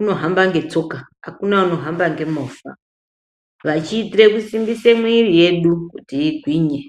unohamba ngetsoka, hakuna unohamba ngemovha. Vachiitire kusimbise mwiiri yedu kuti igwinye.